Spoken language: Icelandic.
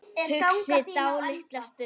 Hugsi dálitla stund.